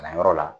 Kalanyɔrɔ la